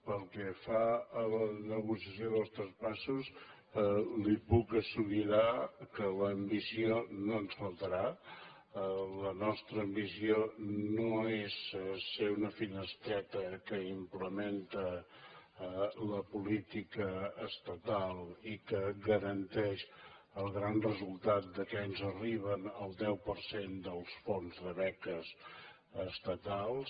pel que fa a la negociació dels traspassos li puc assegurar que l’ambició no ens faltarà la nostra ambició no és ser una finestreta que implementa la política estatal i que garanteix el gran resultat que ens arriba el deu per cent dels fons de beques estatals